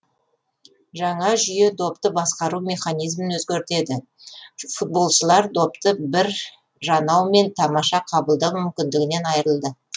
жаңа жүйе допты басқару механизмін өзгертеді футболшылар допты бір жанаумен тамаша қабылдау мүмкіндігінен айырылды